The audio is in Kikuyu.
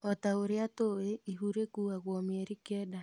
O ta ũria tũi ihu rĩkuagwo mĩeri kenda.